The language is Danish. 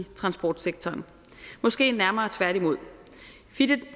transportsektoren måske nærmere tværtimod